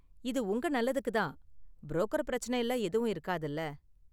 இது உங்க நல்லதுக்கு தான், புரோக்கர் பிரச்சனைலாம் எதுவும் இருக்காதுல.